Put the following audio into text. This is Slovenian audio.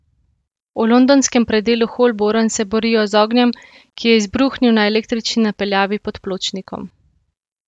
V londonskem predelu Holborn se borijo z ognjem, ki je izbruhnil na električni napeljavi pod pločnikom.